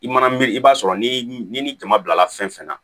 I mana miiri i b'a sɔrɔ ni ni jama bilala fɛn fɛn na